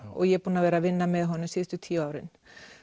ég hef unnið með honum síðustu tíu árin